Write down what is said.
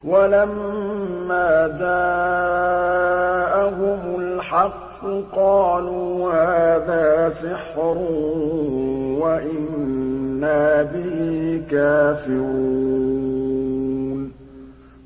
وَلَمَّا جَاءَهُمُ الْحَقُّ قَالُوا هَٰذَا سِحْرٌ وَإِنَّا بِهِ كَافِرُونَ